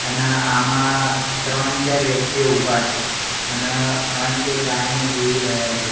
અના આમા ત્રણ ચાર વ્યક્તિઓ ઉભા છે અન અંતે ગાયને જોઈ રહ્યા છે.